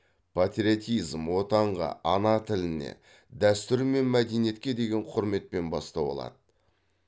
патриотизм отанға ана тіліне дәстүр мен мәдениетке деген құрметпен бастау алады